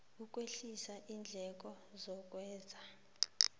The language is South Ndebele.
ukwehlisa iindleko zokwenza